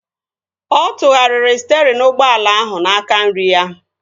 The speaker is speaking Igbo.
Ọ tụgharịrị sterịn ụgbọala ahụ n'aka nri ya